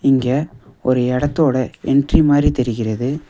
இங்க ஒரு இடத்தோட என்ட்ரி மாரி தெரிகிறது.